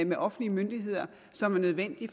med offentlige myndigheder som er nødvendig